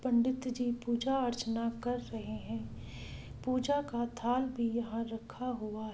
पंडित जी पूजा अर्चना कर रहे है पूजा का थाल भी यहां रखा हुआ ---